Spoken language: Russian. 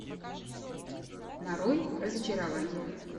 нарой разочарование